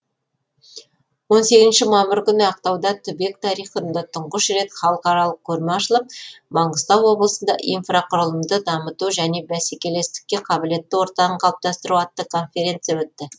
он сегізінші мамыр күні ақтауда түбек тарихында тұңғыш рет халықаралық көрме ашылып маңғыстау облысында инфрақұрылымды дамыту және бәсекелестікке қабілетті ортаны қалыптастыру атты конференция өтті